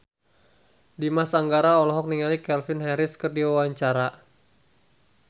Dimas Anggara olohok ningali Calvin Harris keur diwawancara